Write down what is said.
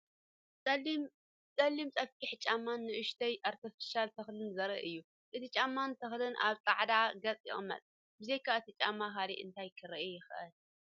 ጸሊም ጸፍሒ ጫማን ንእሽቶ ኣርቲፊሻል ተኽልን ዘርኢ እዩ። እቲ ጫማን ተኽልን ኣብ ጻዕዳ ገጽ ይቕመጥ። ብዘይካ እቲ ጫማ ካልእ እንታይ ክርአ ይከኣል?